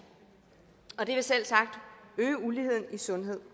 og det vil selvsagt øge uligheden i sundhed